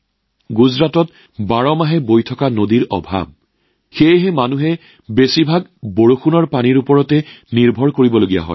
গুজৰাটত বাৰ্ষিকভাৱে বৈ যোৱা নদীৰো অভাৱ সেয়েহে মানুহে বৰষুণৰ পানীৰ ওপৰত বেছিকৈ নিৰ্ভৰ কৰিবলগীয়া হয়